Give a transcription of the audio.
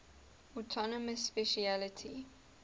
autonomous specialty